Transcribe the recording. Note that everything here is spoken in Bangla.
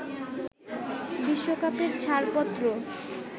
বিশ্বকাপের ছাড়পত্র